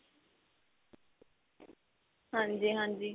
ਹਾਂਜੀ ਹਾਂਜੀ.